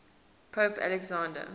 pope alexander